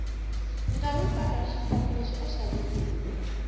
ngawi pala washipanuleshi ishaviwile